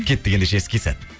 кеттік ендеше іске сәт